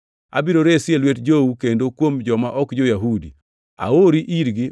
Abiro resi e lwet jou kendo kuom joma ok jo-Yahudi. Aori irgi